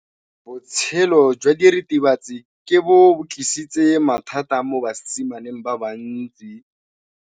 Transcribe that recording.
Botshelo jwa diritibatsi ke bo tlisitse mathata mo basimaneng ba bantsi.